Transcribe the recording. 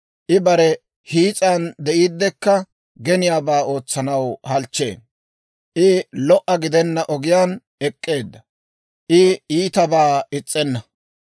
I bare hiis'an de'iiddekka geniyaabaa ootsanaw halchchee. I lo"o gidenna ogiyaan ek'k'eedda; I iitabaa is's'enna.